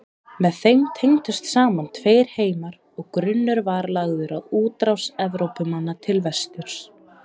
Með þeim tengdust saman tveir heimar og grunnur var lagður að útrás Evrópumanna til vesturs.